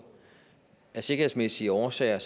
af sikkerhedsmæssige årsager